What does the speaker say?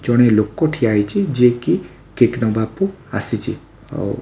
ଜଣେ ଲୋକ ଠିଆ ହେଇଛି ଯିଏକି କେକ୍‌ ନବାକୁ ଆସିଛି। ଆଉ --